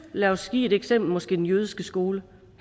lad os give et eksempel den jødiske skole